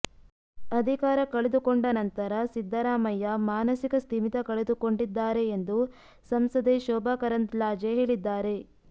ಅಧಿಕಾರ ಕಳೆದುಕೊಂಡ ನಂತರ ಸಿದ್ದರಾಮಯ್ಯ ಮಾನಸಿಕ ಸ್ಥಿಮಿತ ಕಳೆದುಕೊಂಡಿದ್ದಾರೆ ಎಂದು ಸಂಸದೆ ಶೋಭಾ ಕರಂದ್ಲಾಜೆ ಹೇಳಿದ್ದಾರೆ